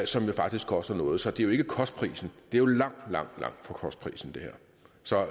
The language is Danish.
som faktisk koster noget så det her er ikke kostprisen det er jo langt langt under kostprisen